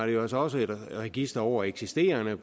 jo altså også et register over eksisterende